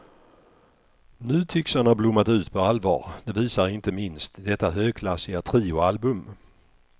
Nu tycks han ha blommat ut på allvar, det visar inte minst detta högklassiga trioalbum.